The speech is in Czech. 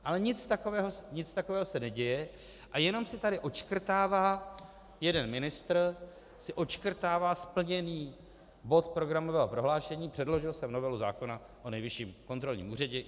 Ale nic takového se neděje a jenom si tady odškrtává, jeden ministr si odškrtává splněný bod programového prohlášení, předložil jsem novelu zákona o Nejvyšším kontrolním úřadě.